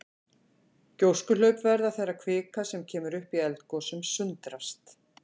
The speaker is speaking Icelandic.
Gjóskuhlaup verða þegar kvika sem kemur upp í eldgosum sundrast.